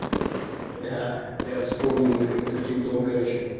я вспомнил мы как-то с кем там короче